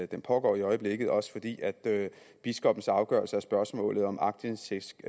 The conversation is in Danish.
den pågår i øjeblikket og også fordi biskoppens afgørelse af spørgsmålet om aktindsigt